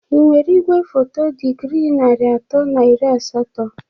Ị nwere igwefoto dịgrị nari atọ na iri asatọ?